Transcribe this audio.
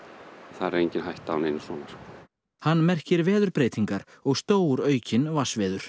þar er engin hætta á neinu svona hann merkir veðurbreytingar og stóraukin vatnsveður